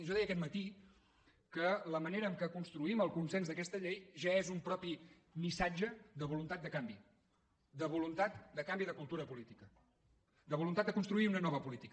jo deia aquest matí que la manera en què construïm el consens d’aquesta llei ja és un propi missatge de voluntat de canvi de voluntat de canvi de cultura política de voluntat de construir una nova política